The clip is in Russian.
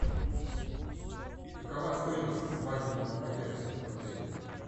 какова стоимость свадебного пакета в отеле